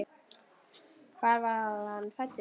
Hvar var hann fæddur?